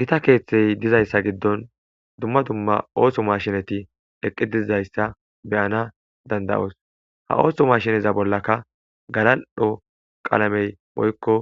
gita keeththey dizayssa giddon dumma dumma ooso mashinati eqqi diizayssa beyana dandayoos ha ooso mashiniza bollaka galal7dho qalamey moykko